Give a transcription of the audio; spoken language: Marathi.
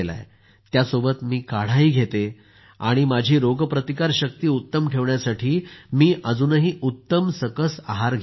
त्यासोबतच मी काढाही घेते आणि माझी रोगप्रतिकार शक्ती उत्तम ठेवण्यासाठी मी अजूनही उत्तम सकस आहार घेते आहे